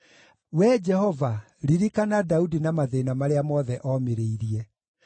Wee Jehova, ririkana Daudi na mathĩĩna marĩa mothe omĩrĩirie.